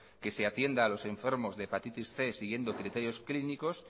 que se atienda a los enfermos de hepatitis cien siguiendo criterios clínicos